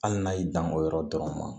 Hali n'a y'i dan o yɔrɔ dɔrɔn ma